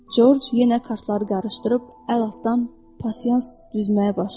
Corc yenə kartları qarışdırıb əl altdan pasiyans düzməyə başladı.